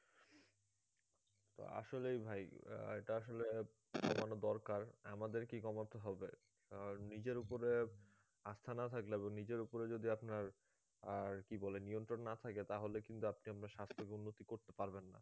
তো আসলে ভাই এটা আসলে কমানো দরকার আমাদেরকেই কমাতে হবে কারণ নিজের উপরে আস্থা না থাকলে বা নিজের উপরে যদি আপনার আর কি বলে নিয়ন্ত্রণ না থাকে তাহলে কিন্তু আপনি আপনার স্বাস্থকে উন্নতি করতে পারবেন না